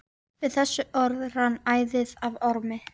Við þessi orð rann æðið af Ormi.